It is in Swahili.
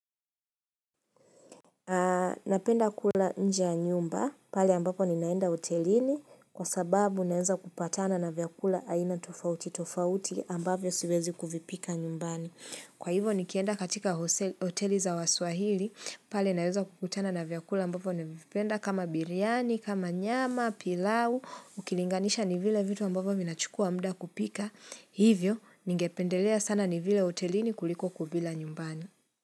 Napenda kula nje ya nyumba pali ambapo ninaenda hotelini kwa sababu naweza kupatana na vyakula aina tofauti tofauti ambapo siwezi kuvipika nyumbani. Kwa hivo nikienda katika hoteli za waswahili pali naenza kukutana na vyakula ambapo nevipenda kama biryani, kama nyama, pilau, ukilinganisha ni vile vitu ambapo minachukua muda kupika. Hivyo ningependelea sana ni vile hotelini kuliko kuvila nyumbani.